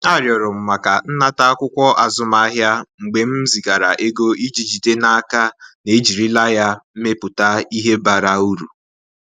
Arịọrọ m maka nnata akwụkwọ azụmahịa mgbe m zigara ego iji jide n’aka na ejirila ya mepụta ihe bara uru.